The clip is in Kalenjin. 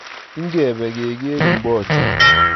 Ikebe keker mbocha